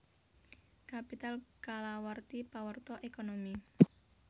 Capital kalawarti pawarta ékonomi